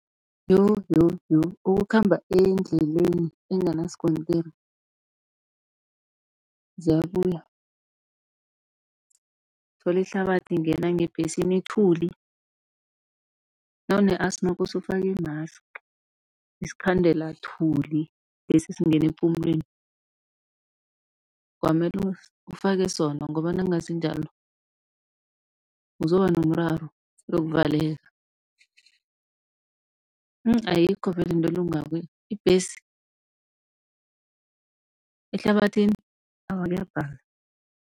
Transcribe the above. Yo! yo! yo! ukukhamba endleleni enganasikontiri ziyabuya. Uthola ihlabathi ingena ngebhesini, ithuli nawune asthma kosa ufake i-mask, isikhandela-thuli lesi singena epumulweni. Kwamele ufake sona ngoba nakungasinjalo uzoba nomraro, uyokuvaleka. Ayikho vele into elungako ibhesi ehlabathini awa kuyabhala.